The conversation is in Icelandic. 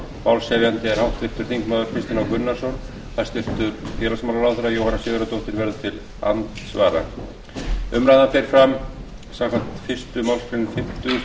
málshefjandi er háttvirtur þingmaður kristinn h gunnarsson hæstvirts félagsmálaráðherra jóhanna sigurðardóttir verður til andsvara umræðan fer fram samkvæmt fyrstu málsgrein fimmtugustu grein þingskapa og stendur í hálfa klukkustund